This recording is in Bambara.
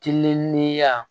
Kiliminiya